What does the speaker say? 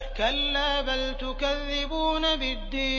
كَلَّا بَلْ تُكَذِّبُونَ بِالدِّينِ